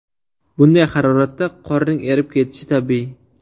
Bunday haroratda qorning erib ketishi tabiiy.